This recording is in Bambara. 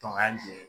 Tɔ ka jɛ